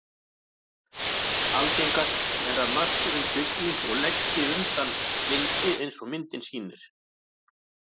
Algengast er að mökkurinn svigni og leggi undan vindi eins og myndin sýnir.